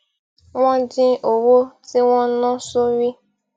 wón dín owó tí wón ń ná sórí